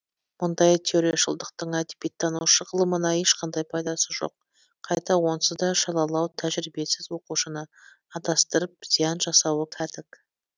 мұндай теорияшылдықтың әдебиеттану ғылымына ешқандай пайдасы жоқ қайта онсыз да шалалау тәжірибесіз оқушыны адастырып зиян жасауы кәдік